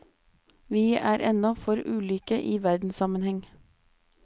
Vi er ennå for ulike i verdenssammenheng.